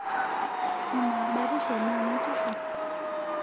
Amaa batisho naa matisho?